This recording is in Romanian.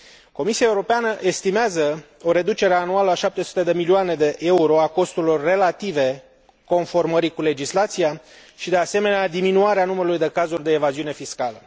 Comisia Europeană estimează o reducere anuală cu 700 de milioane de euro a costurilor relative conformării cu legislația și, de asemenea, diminuarea numărului de cazuri de evaziune fiscală.